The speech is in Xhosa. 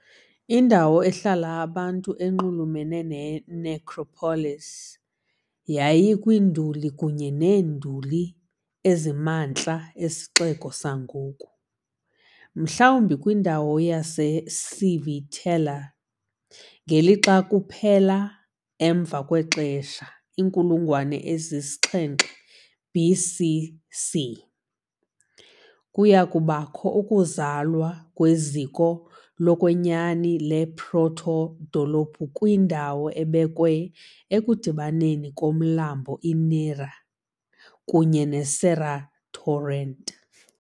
Indawo ehlala abantu enxulumene ne-necropolis yayikwiinduli kunye neenduli ezisemantla esixeko sangoku, mhlawumbi kwindawo yaseCivitella, ngelixa kuphela emva kwexesha, inkulungwane yesi-7 BC.C., kuya kubakho ukuzalwa kweziko lokwenyani le-proto-dolophu kwindawo ebekwe ekudibaneni komlambo iNera kunye ne-Serra torrent.